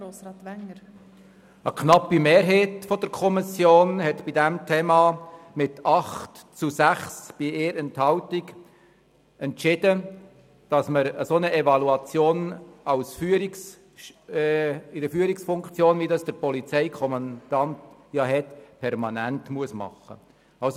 der SiK. Eine knappe Mehrheit der Kommission hat mit 8 zu 6 Stimmen bei 1 Enthaltung entschieden, dass eine solche Evaluation seitens eines Führungsorgans wie dem Polizeikommandanten permanent stattfinden muss.